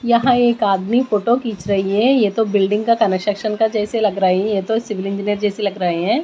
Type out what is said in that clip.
यहाँ एक आदमी फोटो खींच रही है यह तो बिल्डिंग का कं-स्ट्रक्शन का जैसे लग रही यह तो सिविल इंजीनियर जैसे लग रहे हैं।